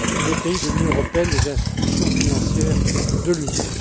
des pays de l'Union européenne et des institutions financières de l'Union.